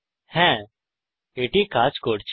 হ্যা এটি কাজ করছে